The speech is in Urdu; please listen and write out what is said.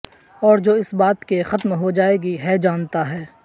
اور جو اس بات کے ختم ہو جائے گی ہے جانتا ہے